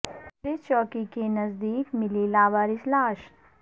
police چوکی کے نزد یک ملی لاوارث لاش